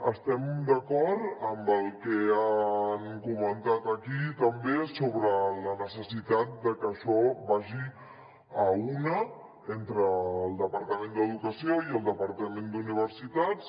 estem d’acord amb el que han comentat aquí també sobre la necessitat que això vagi a una entre el departament d’educació i el departament d’universitats